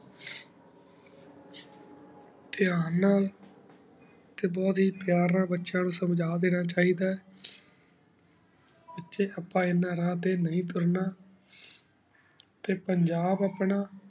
ਤੇਂ ਨਾਲ ਟੀ ਬੁਹਤ ਹੇ ਪੇਯਰ ਨਾਲ ਬੇਚ੍ਯਾਂ ਨੂ ਸੰਜਾ ਦੇਣਾ ਚਿੜਾ ਆਯ ਬਚੀ ਅਪਾ ਏਨਾ ਰਾਹ ਟੀ ਨੀ ਤੁਰਨਾ ਟੀ ਪੰਜਾਬ ਆਪਣਾ